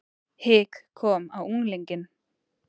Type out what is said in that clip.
Hik kom á unglinginn.